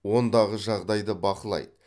ондағы жағдайды бақылайды